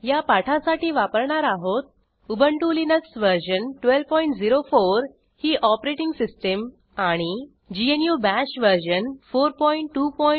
या पाठासाठी वापरणार आहोत उबंटु लिनक्स वर्जन 1204 ही ऑपरेटिंग सिस्टीम आणि ग्नू बाश वर्जन 4224